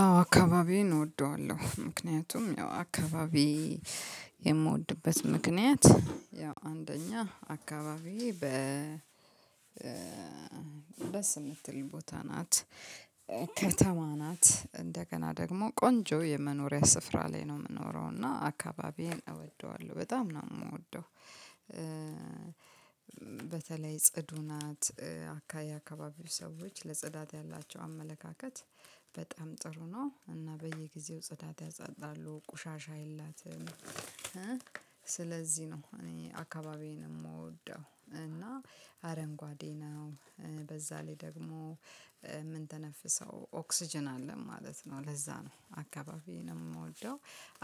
አዎ አካባቢዬን እወደዋለሁ። ምክንያቱም ያው አካባቢ የምወድበት ምክንያት ያው አንደኛ አካባቢ በ- ደስ ምትል ቦታ ናት። ከተማ ናት። እንደገና ደግሞ ቆንጆ የመኖሪያ ስፍራ ላይ ነው የምኖረው እና አካባቢዬን እወደዋለሁ በጣም ነው የምወደው። በተለይ ጽዱ ናት። የአካባቢው ሰዎች ለጽዳት ያላቸው አመለካከት በጣም ጥሩ ነው። እና በየጊዜው ጽዳት ያጸዳሉ። ቁሻሻ የላትም። ስለዚህ ነው: እኔ አካባቢዬን የምወደው እና አረንጓዴ ነው። በዛ ላይ ደግሞ- የምንተነፍሰው ኦክስጅን አለን ማለት ነው። ለዛ ነው አካባቢ የምወደው።